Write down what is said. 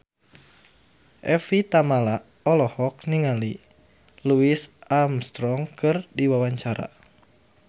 Evie Tamala olohok ningali Louis Armstrong keur diwawancara